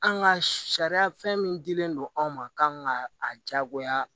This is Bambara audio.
An ka sariya fɛn min dilen don anw ma kan ka a jagoya